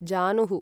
जानुः